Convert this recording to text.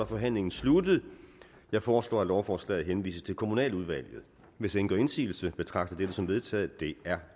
forhandlingen sluttet jeg foreslår at lovforslaget henvises til kommunaludvalget hvis ingen gør indsigelse betragter jeg dette som vedtaget det er